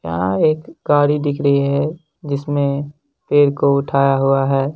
यहाँ एक गाड़ी दिख रही है जिसने पेड़ को उठाया हुआ है।